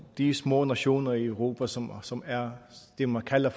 de små nationer i europa som som er det man kalder